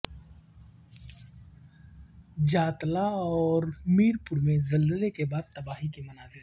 جاتلاں اور میرپور میں زلزلے کے بعد تباہی کے مناظر